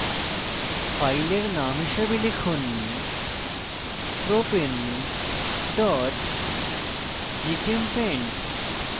file name হিসাবে লিখুন propane gchempaint